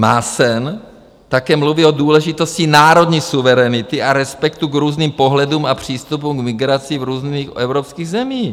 Maassen také mluví o důležitosti národní suverenity a respektu k různým pohledům a přístupům k migraci v různých evropských zemích.